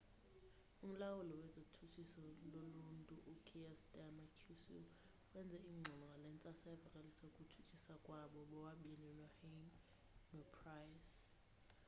umlawuli wezotshutshiso loluntu u-kier starmer qc wenze ingxelo ngale ntsasa evakalisa ukutshutshiswa kwabo bobabini uhuhne nopryce